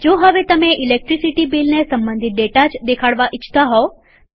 જો હવે તમે ઈલેકટ્રીસીટી બીલને સંબંધિત ડેટા જ દેખાડવા ઈચ્છતા હોવ